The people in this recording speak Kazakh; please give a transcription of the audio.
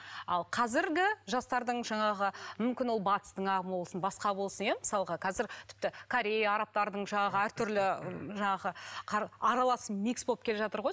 ал қазіргі жастардың жаңағы мүмкін ол батыстың ағымы болсын басқа болсын иә мысалға қазір тіпті корея арабтардың жаңағы әртүрлі жаңағы аралас микс болып келе жатыр ғой